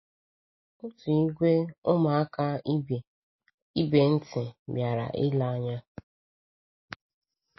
Otu ìgwè ụmụaka ibe ntị bịara ilee anya.